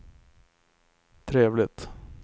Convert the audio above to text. trevligt